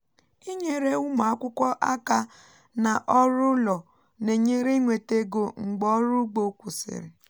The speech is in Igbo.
inyere ụmụakwụkwọ aka na ọrụ ụlọ na-enyere inweta ego mgbe ọrụ ugbo kwụsịrị